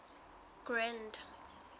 grand